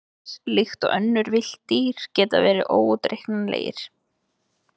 Selir, líkt og önnur villt dýr, geta verið óútreiknanlegir.